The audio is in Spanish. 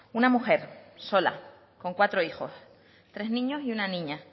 una mujer sola con cuatro hijos tres niños y una niña